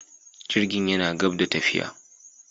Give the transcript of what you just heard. Jirgin yana gab da tafiya.